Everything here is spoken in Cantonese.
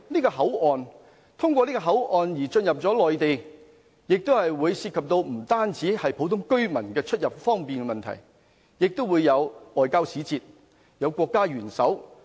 乘客通過這個口岸進入內地，不單涉及普通居民出入方便的問題，亦會有外交使節、國家元首。